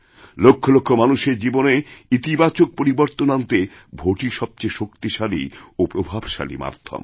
লক্ষ লক্ষ মানুষের জীবনেইতিবাচক পরিবর্তন আনতে ভোটই সবচেয়ে শক্তিশালী ও প্রভাবশালী মাধ্যম